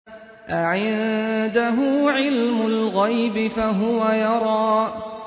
أَعِندَهُ عِلْمُ الْغَيْبِ فَهُوَ يَرَىٰ